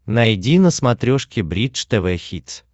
найди на смотрешке бридж тв хитс